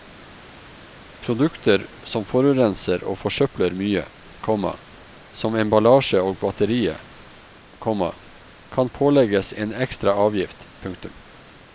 Produkter som forurenser og forsøpler mye, komma som emballasje og batterier, komma kan pålegges en ekstra avgift. punktum